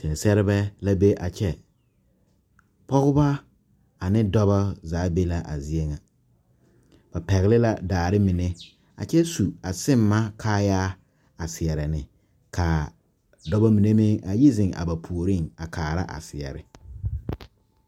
Seɛ sɛrebɛ la be a kyɛ pɔgebɔ aneŋ dɔbɔ zaa be la a zie ŋa ba pɛgle la daare mine a kyɛ su a simma kaayaa a seɛrɛ ne kaa dɔbɔ mine meŋ a yi zeŋ a ba puoriŋ a kaara a seɛre.